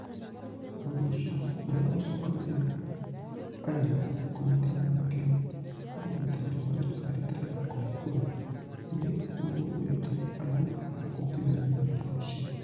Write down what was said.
Nĩ ũndũ ũcio, kũgerera ũcokanĩrĩri wa ũira na kũnyitanĩra na kĩyo kwa Ũnyitanĩri wa Thirikari Ĩtarĩ ya Kũhingũra nĩ gũthuurĩtwo andũ a kũrutithania wĩra ũcio.